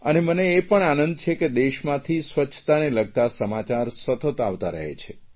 અને મને એ પણ આનંદ છે કે દેશમાંથી સ્વચ્છતાને લગતા સમાચાર સતત આવતા રહે છે